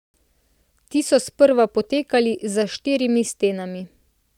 Ti so sprva potekali za štirimi stenami.